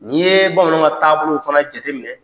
N'i yee bamananw ka taabolow fana jateminɛ